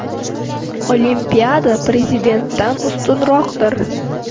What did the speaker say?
Olimpiada prezidentdan ustunroqdir.